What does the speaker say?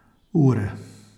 Ure.